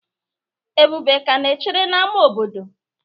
ebube ka na-echere n'ámá obodo?